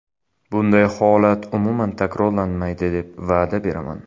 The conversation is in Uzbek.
Bunday holat umuman takrorlanmaydi deb va’da beraman.